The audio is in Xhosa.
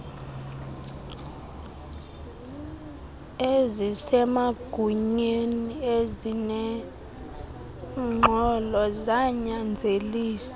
ezisemagunyeni ezinengxolo zanyanzelisa